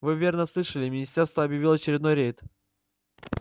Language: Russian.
вы верно слышали министерство объявило очередной рейд